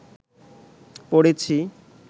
পড়েছি